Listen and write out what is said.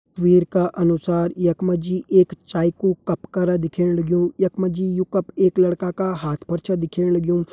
तस्वीर का अनुसार यख मा जी एक चाय कू कप करा दिखेण लग्युं यख मा जी यू कप एक लड़का का हाथ पर छ दिखेण लग्युं।